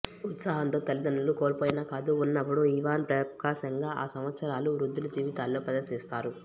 ఉత్సాహంతో తల్లిదండ్రులు కోల్పోయిన కాదు ఉన్నప్పుడు ఇవాన్ ప్రకాశంగా ఆ సంవత్సరాలు వృద్ధుల జీవితాల్లో ప్రదర్శిస్తారు